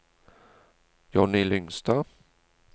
Johnny Lyngstad